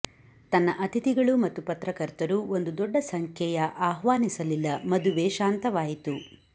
ತನ್ನ ಅತಿಥಿಗಳು ಮತ್ತು ಪತ್ರಕರ್ತರು ಒಂದು ದೊಡ್ಡ ಸಂಖ್ಯೆಯ ಆಹ್ವಾನಿಸಲಿಲ್ಲ ಮದುವೆ ಶಾಂತವಾಯಿತು